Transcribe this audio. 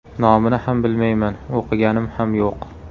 Nomini ham bilmayman, o‘qiganim ham yo‘q.